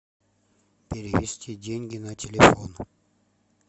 перевести деньги на телефон